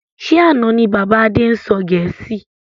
Ṣé àna ni bàbá Adé ń sọ gẹ̀ẹ́sì?